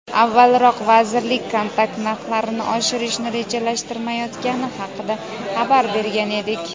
Avvalroq vazirlik kontrakt narxlarini oshirishni rejalashtirmayotgani haqida xabar bergan edik.